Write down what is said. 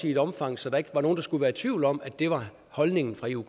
i et omfang så der ikke var nogen der skulle være i tvivl om at det var holdningen fra eu